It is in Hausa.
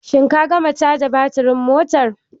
Shin ka gama caja baturin motar?